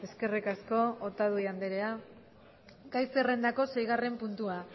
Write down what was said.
eskerrik asko otadui andrea gai zerrendako seigarren puntua